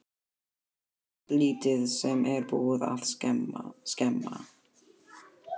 Ekkert lítið sem er búið að skemma!